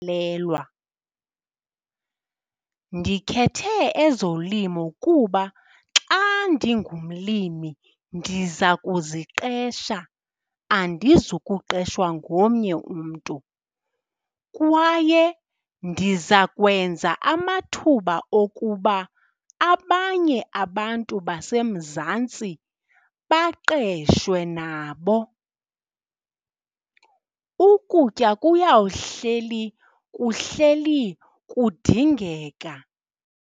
Ndikhethe ezolimo kuba xa ndingumlimi ndiza kuziqesha, andizukuqeshwa ngomnye umntu. Kwaye ndiza kwenza amathuba okuba abanye abantu baseMzantsi baqeshwe nabo. Ukutya kuyawuhleli kuhleli kudingeka.